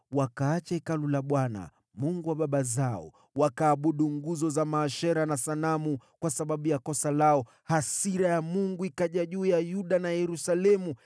Wakaacha Hekalu la Bwana , Mungu wa baba zao, wakaabudu nguzo za maashera na sanamu. Kwa sababu ya hatia yao, hasira ya Mungu ikawajia Yuda na Yerusalemu.